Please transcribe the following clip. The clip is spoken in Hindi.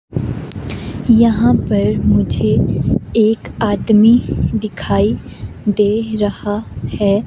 यहाँ पर मुझे एक आदमी दिखाई दे रहा है।